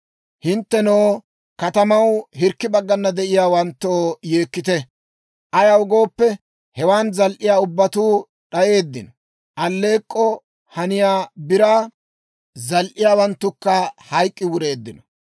Hinttenoo, katamaw hirkki baggana de'iyaawanttoo, yeekkite; ayaw gooppe, hewan zal"iyaa ubbatuu d'ayeeddino; aleek'k'oo haniyaa biraa zal"iyaawanttukka hayk'k'i wureeddino.